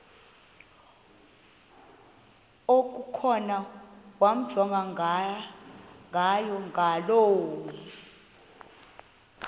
okukhona wamjongay ngaloo